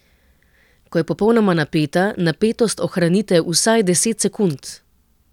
Ko je popolnoma napeta, napetost ohranite vsaj deset sekund.